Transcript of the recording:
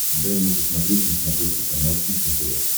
дай мне посмотреть на смотрешке канал кухня тв